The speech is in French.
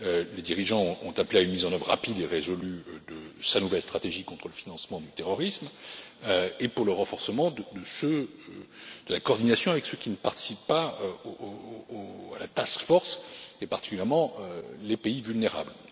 GAFI. Les dirigeants ont appelé à une mise en œuvre rapide et résolue de sa nouvelle stratégie contre le financement du terrorisme et pour le renforcement de la coordination avec ceux qui ne participent pas à la task force, et particulièrement les pays vulnérables.